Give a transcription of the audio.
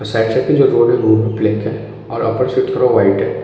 और side side पे जो रोड है वो ब्लैक है और अपर से थोड़ा व्हाइट है।